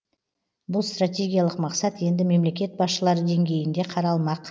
бұл стратегиялық мақсат енді мемлекет басшылары деңгейінде қаралмақ